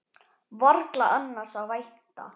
Varla annars að vænta.